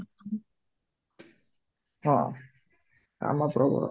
ହଁ କାମ ପ୍ରବଳ